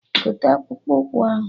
Gote akpụkpụ ụkwụ ahụ!